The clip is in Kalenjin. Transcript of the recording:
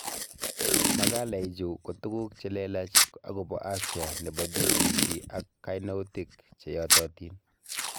Makalaichu ko tuguuk cheleelach akobo afya nebo BBC ak kainoutik che yatatiin